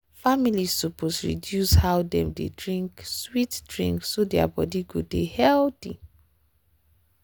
families suppose reduce reduce how dem dey drink sweet drink so their body go dey healthy.